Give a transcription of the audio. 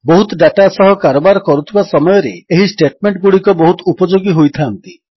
ବହୁତ ଡାଟା ସହ କାରବାର କରୁଥିବା ସମୟରେ ଏହି ଷ୍ଟେଟମେଣ୍ଟଗୁଡ଼ିକ ବହୁତ ଉପଯୋଗୀ ହୋଇଥାନ୍ତି